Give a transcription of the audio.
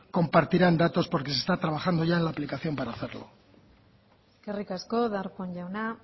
compartirán datos porque se está trabajando ya en la aplicación para hacerlo eskerrik asko darpón jauna